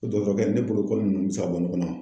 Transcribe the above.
Dɔtɔrɔkɛ ne bolo nunnu bɛ se ka bɔ ɲɔgɔn na?